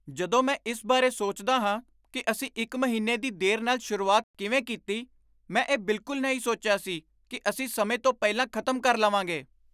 ਜਦੋਂ ਮੈਂ ਇਸ ਬਾਰੇ ਸੋਚਦਾ ਹਾਂ ਕਿ ਅਸੀਂ ਇੱਕ ਮਹੀਨੇ ਦੀ ਦੇਰ ਨਾਲ ਸ਼ੁਰੂਆਤ ਕਿਵੇਂ ਕੀਤੀ, ਮੈਂ ਇਹ ਬਿਲਕੁਲ ਨਹੀਂ ਸੋਚਿਆ ਸੀ ਕਿ ਅਸੀਂ ਸਮੇਂ ਤੋਂ ਪਹਿਲਾਂ ਖ਼ਤਮ ਕਰ ਲਵਾਂਗੇ।